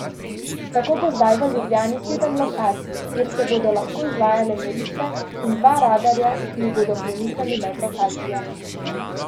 Tako bo zdaj v Ljubljani sedem lokacij, kjer se bodo lahko izvajale meritve, in dva radarja, ki ju bodo premikali med lokacijami.